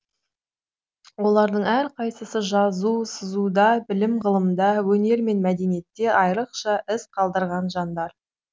олардың әрқайсысы жазу сызуда білім ғылымда өнер мен мәдениетте айрықша із қалдырған жандар